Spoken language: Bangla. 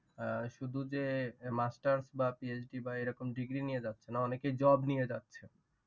আহ শুধু যে master বা PhD কি বা এইরকম degree নিয়ে যাচ্ছে না অনেকে job নিয়ে যাচ্ছে।